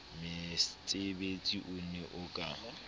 metsebetsi o ne o ka